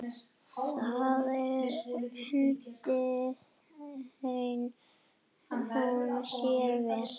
Þar undi hún sér vel.